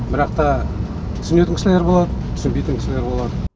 бірақта түсінетін кісілер болады түсінбейтін кісілер болады